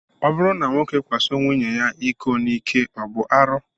Ọ bụrụ na nwoke kwaso nwunye ya iko n'ike, ọ bụ arụ?